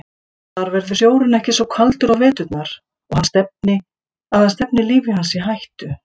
Þar verður sjórinn ekki svo kaldur á veturna að hann stefni lífi hans í hættu.